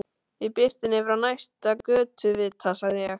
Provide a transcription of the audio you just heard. Í birtunni frá næsta götuvita sagði ég